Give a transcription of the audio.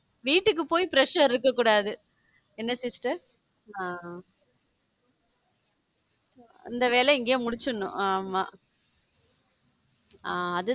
வீட்டுக்கு போய் pressure இருக்கக் கூடாது என்ன sister? ஹம் அந்த வேலையை இங்கேயே முடிச்சிடணும். ஆமா ஹம் அது